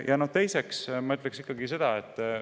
Ja teiseks.